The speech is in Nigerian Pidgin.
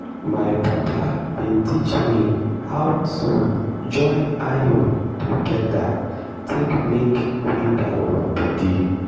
my papa bin teach me how to join iron togedir take make wheelbarrow bodi.